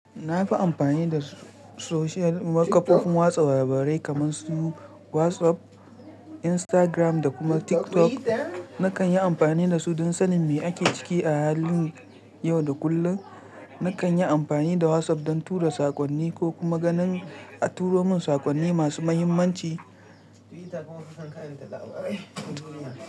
Na fi amfani da social, kafofin watsa labarai kamar su WhatsApp, Instagram da kuma TikTok. Na kan yi amfani da su don sanin me ake ciki a halin yau da kullum. Na kan yi amfani da WhatsApp don tura saƙonni ko kuma ganin a turo mun saƙonni masu mahimmanci. Twitter kuma muke karanta labarai na duniya.